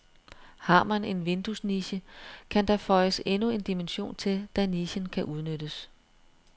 Har man en vinduesniche, kan der føjes endnu en dimension til, da nichen kan udnyttes.